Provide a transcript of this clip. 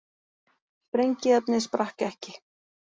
Sprengiefnið sprakk ekki